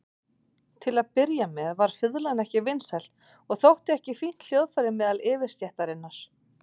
Til að byrja með var fiðlan ekki vinsæl og þótti ekki fínt hljóðfæri meðal yfirstéttarinnar.